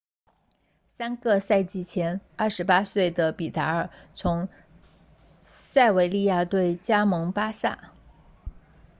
三个赛季前28岁的比达尔 vidal 从塞维利亚队加盟巴萨